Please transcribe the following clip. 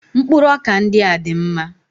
Mkpụrụ ọkà ndị a dị mma